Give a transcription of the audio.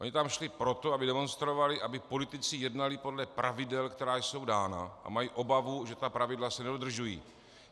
Oni tam šli proto, aby demonstrovali, aby politici jednali podle pravidel, která jsou dána, a mají obavu, že ta pravidla se nedodržují.